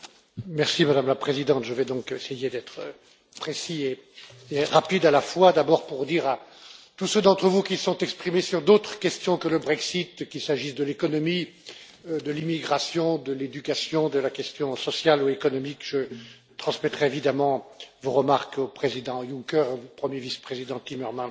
Madame la Présidente, je vais donc essayer d'être précis et rapide à la fois, d'abord pour dire à tous ceux d'entre vous qui se sont exprimés sur d'autres questions que le Brexit, qu'il s'agisse de l'économie, de l'immigration, de l'éducation, de la question sociale ou économique, que je transmettrai évidemment vos remarques au président Juncker et au premier vice président Timmermans, qui